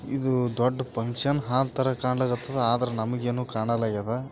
ಇದು ದೊಡ್ಡ function hall ತರ ಕಾಣಾಕತ್ತದ ಮತ್ತ ನಮಗೇನು ಕಾಣ್ತಾ ಇಲ್ಲ.